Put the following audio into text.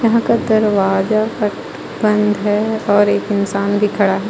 यहां का दरवाजा पट बंद है और एक इंसान भी खड़ा है.